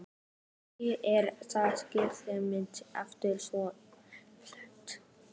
Kannski er það heilaga einmitt alltaf svo einfalt.